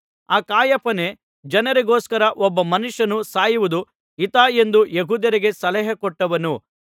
ಆ ಕಾಯಫನೇ ಜನರಿಗೋಸ್ಕರ ಒಬ್ಬ ಮನುಷ್ಯನು ಸಾಯುವುದು ಹಿತ ಎಂದು ಯೆಹೂದ್ಯರಿಗೆ ಸಲಹೆ ಕೊಟ್ಟವನು